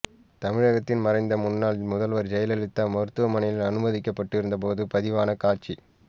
தமிழகத்தின் மறைந்த முன்னாள் முதல்வர் ஜெயலலிதா மருத்துவமனையில் அனுமதிக்கப்பட்டிருந்தபோது பதிவான காட்ச